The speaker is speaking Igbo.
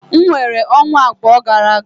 M weere ọnwa abụọ gara aga.